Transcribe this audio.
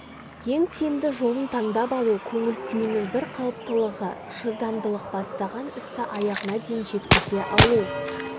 ең тиімді жолын таңдап алу көңіл-күйінің бір қалыптылығы шыдамдылық бастаған істі аяғына дейін жеткізе алу